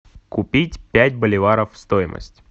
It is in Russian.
купить пять боливаров стоимость